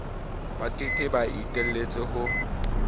ba ka ke iteletse ho